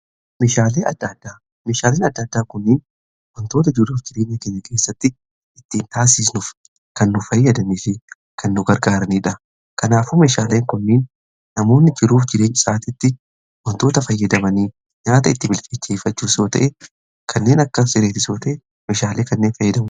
Meeshaaleen adda addaa kunniin wantoota jiruuf jireenya akka gaggeessatti ittiin taasisnuuf kan nu fayyadamiifi kan nu gargaaraniidha. Kanaafuu meeshaaleen kunniin namoonni jiruuf jireenya isaaniitti wantoota fayyadamanii nyaata itti bilcheeffachuu yoo ta'e kanneen akka irreetii osoo ta'e meeshaalee kanneen fayyadamuu.